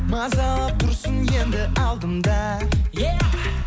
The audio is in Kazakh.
мазалап тұрсын енді алдымда е